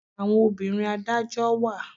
Àwọn obìnrin adájọ́ wà.